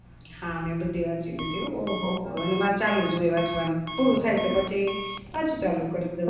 હા મેં બધી વાચી લીધી હો અને મારે ચાલુજ હોય વાંચવાનું પૂરું થાય તો પછી પાછુ ચાલુ કરું